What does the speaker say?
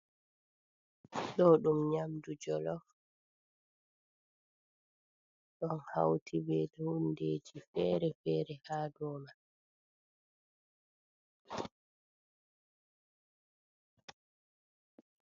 Ɗo ɗum nyamdu jolof, ɗon hauti be hundeji fere-fere haa dou man.